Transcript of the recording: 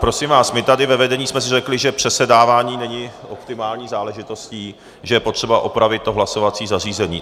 Prosím vás, my tady ve vedení jsme si řekli, že přesedávání není optimální záležitostí, že je potřeba opravit to hlasovací zařízení.